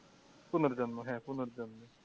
পুনর্জন্ম হ্যাঁ পুনর্জন্ম।